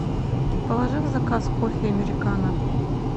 положи в заказ кофе американо